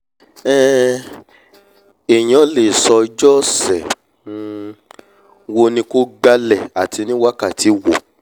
um èèyàn lè sọ ọjọ́ ọ̀sẹ̀ um wo ni kó gbálẹ̀ ati ní wákàtí wo